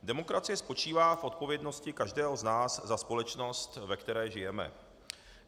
Demokracie spočívá v odpovědnosti každého z nás za společnost, ve které žijeme.